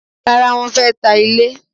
Rárá, wọ́n fẹ́ ta ilé.